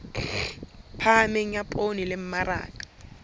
phahameng ya poone le mmaraka